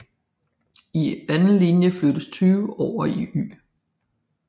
I anden linje flyttes 20 over i Y